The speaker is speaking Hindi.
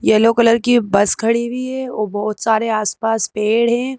येलो कलर की बस खड़ी हुई है और बहोत सारे आस पास पेड़ हैं।